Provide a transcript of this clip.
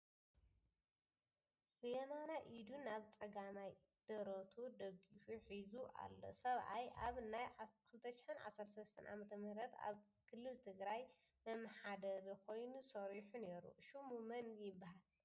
ብየማናይ ኢዱ ናብ ፀጋማይ ደረቱ ደጊፉ ሒዙ ኣሎ ሰብኣይ ኣብ ናይ 2013 ዓ/ም ኣብ ክልል ትግራይ መመሓደሪ ኾይኑ ሰሪሑ ነይሩ ፡ ሹሙ መን ይበሃል ?